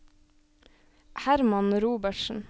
Herman Robertsen